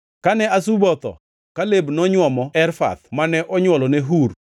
Kane Azuba otho, Kaleb nonywomo Efrath mane onywolone Hur.